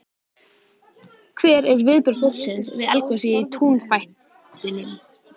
Hver eru viðbrögð fólks við eldgosi í túnfætinum?